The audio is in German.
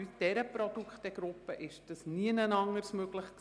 Bei dieser Produktgruppe war es nirgendwo sonst möglich.